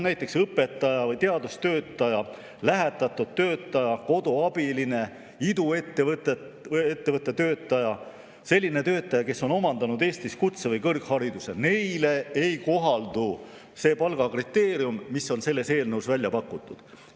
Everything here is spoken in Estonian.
Näiteks õpetaja, teadustöötaja, lähetatud töötaja, koduabilise, iduettevõtte töötaja suhtes, sellise töötaja suhtes, kes on omandanud Eestis kutse‑ või kõrghariduse, ei kohaldu see palgakriteerium, mis on selles eelnõus välja pakutud.